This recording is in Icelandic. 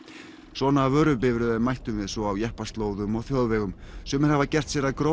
svona vörubifreiðum mættum við svo á jeppaslóðum og þjóðvegum sumir hafa gert sér að